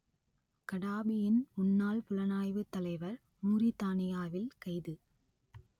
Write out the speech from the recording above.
கடாபியின் முன்னாள் புலனாய்வுத் தலைவர் மூரித்தானியாவில் கைது